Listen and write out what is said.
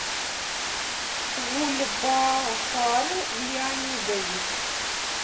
гульбахар леонидович